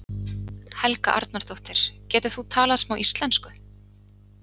Helga Arnardóttir: Getur þú talað smá íslensku?